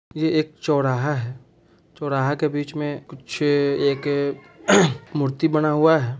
ये एक चौराहा है चौराहा के बीच में कुछ एक मूर्ति बना हुआ है।